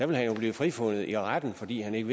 vil han jo blive frifundet i retten fordi han ikke